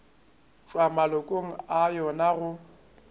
tšwa malokong a yona go